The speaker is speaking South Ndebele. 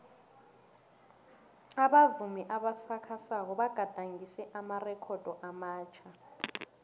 abavumi abasakhasako bagadangise amarekhodo amatjha